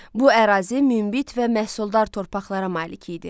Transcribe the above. Bu ərazi münbit və məhsuldar torpaqlara malik idi.